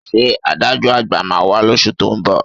Ṣé adájọ́ à̀gbà máa wá lóṣù tó ń bọ̀?